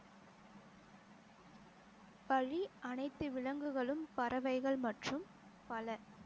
பழி அனைத்து விலங்குகளும் பறவைகள் மற்றும் பல